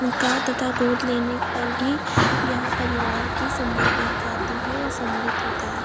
का तथा गोद लेने पर भी यह परिवार की संज्ञा